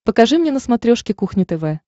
покажи мне на смотрешке кухня тв